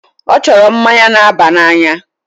Ọ chọrọ mmanya na-aba n'anya.